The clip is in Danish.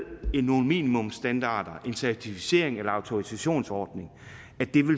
nogle minimumsstandarder en certificerings eller autorisationsordning